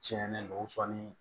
Tiɲɛnen do sɔɔni